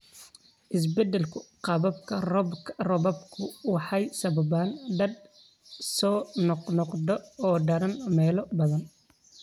Isbeddelka qaababka roobabku waxay sababaan daadad soo noqnoqda oo daran meelo badan.